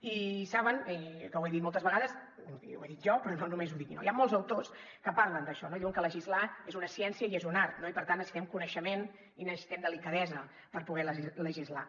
i saben que ho he dit moltes vegades i ho he dit jo però no només ho dic jo hi han molts autors que parlen d’això i diuen que legislar és una ciència i és un art i per tant necessitem coneixement i necessitem delicadesa per poder legislar